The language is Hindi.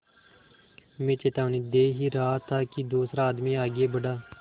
मैं चेतावनी दे ही रहा था कि दूसरा आदमी आगे बढ़ा